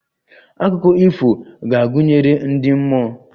Akụkọ ifo ga-agụnyekarị ndi mmụọ